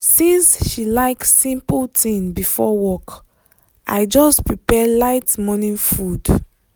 since she like simple thing before work i just prepare light morning food.